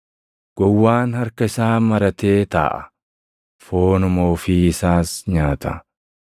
Gowwaan harka isaa maratee taaʼa; foonuma ofii isaas nyaata.